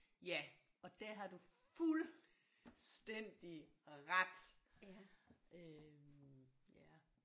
Ja og der har du fuldstændig ret øh ja